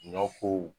Ɲɔ ko